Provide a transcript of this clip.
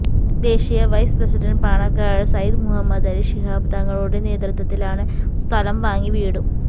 ദേശീയ vice president Panakkad Sayyid Mueenali Shihab തങ്ങളുടെ നേതൃത്വത്തിലാണ് സ്ഥലം വാങ്ങി വീടും